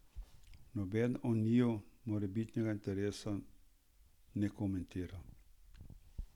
Nobeden o njiju morebitnega interesa ne komentira.